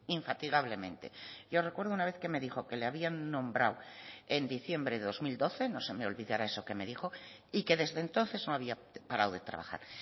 infatigablemente yo recuerdo una vez que me dijo que le habían nombrado en diciembre de dos mil doce no se me olvidará eso que me dijo y que desde entonces no había parado de trabajar